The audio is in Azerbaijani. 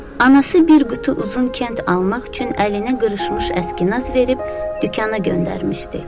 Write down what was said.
Anası bir qutu uzun kənd almaq üçün əlinə qırışmış əskinaz verib dükana göndərmişdi.